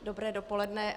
Dobré dopoledne.